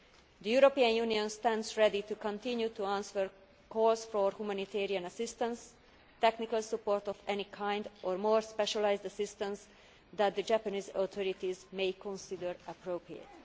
The European Union stands ready to continue to answer calls for humanitarian assistance, technical support of any kind or more specialised assistance that the Japanese authorities may consider appropriate.